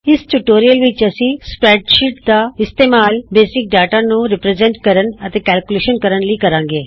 ਇਸ ਟਿਯੂਟੋਰਿਅਲ ਵਿਚ ਅਸੀਂ ਸਪਰੈਡਸ਼ੀਟ ਦਾ ਇਸਤੇਮਾਲ ਮੂਲ ਡਾਟਾ ਨੂੰ ਪੇਸ਼ ਕਰਨ ਅਤੇ ਗਣਨਾ ਕਰਨ ਲਈ ਕਰਾਂਗੇ